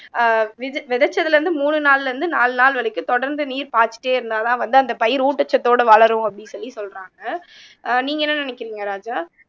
ஆஹ் விதை விதைச்சதுல இருந்து மூணு நாள்ல இருந்து நாலு நாள் வரைக்கும் தொடர்ந்து நீர் பாய்ச்சிட்டே இருந்தாதான் வந்து அந்த பயிர் ஊட்டச்சத்தோட வளரும் அப்படின்னு சொல்லி சொல்றாங்க ஆஹ் நீங்க என்ன நினைக்கிறீங்க ராஜா